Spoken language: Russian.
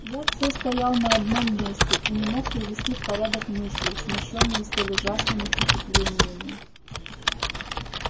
я всё стоял на одном месте и не мог привести в порядок мысли смущённые столь ужасными впечатлениями